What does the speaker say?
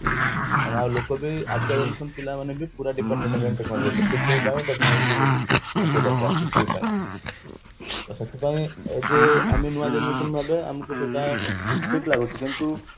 ମାନେ ଆଉ ଲୋକ ବି ଆଜିକା generation ପିଲା ମାନେ ପୁରା dependent ହେଲେଣି technology ଉପରେ କିଛି ପାଇଁ technology ତାଙ୍କୁ ଦରକାର କିଛି ବି ପାଇଁ ତ ସେଥିପାଇଁ ଆମେ ଯେ ନୂଆ generation ଭାବେ ଆମକୁ ସେଟା ଠିକ ଲାଗୁଛି କିନ୍ତୁ